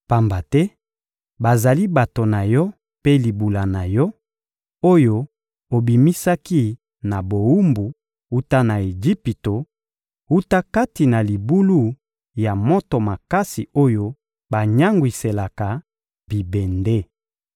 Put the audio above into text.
Pamba te bazali bato na Yo mpe libula na Yo, oyo obimisaki na bowumbu wuta na Ejipito, wuta kati na libulu ya moto makasi oyo banyangwiselaka bibende.